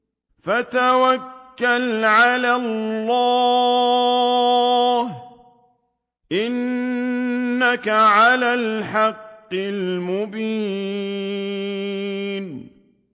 فَتَوَكَّلْ عَلَى اللَّهِ ۖ إِنَّكَ عَلَى الْحَقِّ الْمُبِينِ